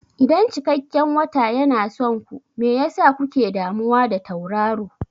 Idan cikakken wata yana son ku, me yasa kuke damuwa da tauraro?